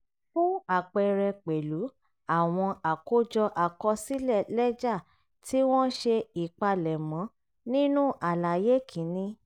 fún àpẹẹrẹ pẹ̀lú àwọn àkójọ àkọsílẹ̀ lẹ́jà tí wọ́n ṣe ìpalẹ̀mọ́ nínú àlàyé kìíní